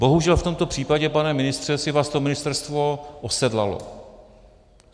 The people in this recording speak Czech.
Bohužel, v tomto případě, pane ministře, si vás to ministerstvo osedlalo.